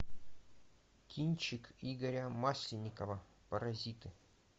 кинчик игоря масленникова паразиты